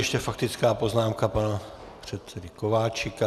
Ještě faktická poznámka pana předsedy Kováčika.